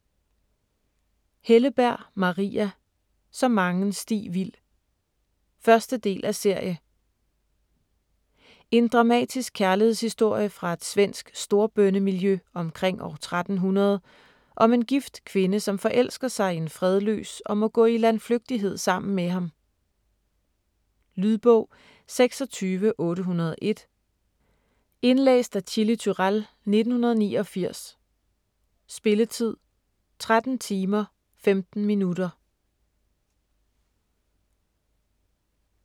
Helleberg, Maria: Så mangen sti vild 1. del af serie. En dramatisk kærlighedshistorie fra et svensk storbondemiljø omkring år 1300 om en gift kvinde, som forelsker sig i en fredløs og må gå i landflygtighed sammen med ham. Lydbog 26801 Indlæst af Chili Turèll, 1989. Spilletid: 13 timer, 15 minutter.